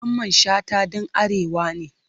Mamman Shata dan arewa ne.